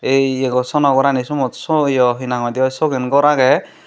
ei ye go sono gorani somot so yo hi nang hoidey yo sogen gor agey.